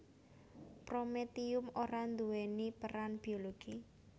Prometium ora nduwèni peran biologi